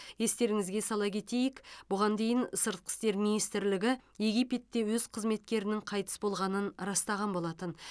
естеріңізге сала кетейік бұған дейін сыртқы істер минситрлігі египетте өз қызметкерінің қайтыс болғанын растаған болатын